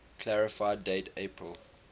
clarify date april